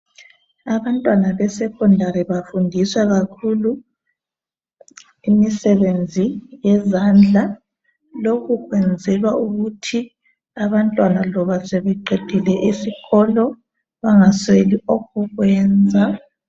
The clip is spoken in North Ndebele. Abantwana be secondary bafundiswa kakhulu imisebenzi yezandla lokhu kwenzelwa ukuthi abantwana loba sebeqedile isikolo bangasweli okokwenza.